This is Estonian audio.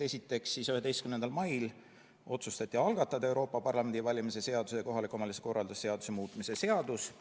Esiteks, 11. mail otsustati algatada Euroopa Parlamendi valimise seaduse ja kohaliku omavalitsuse korralduse seaduse muutmise seadus.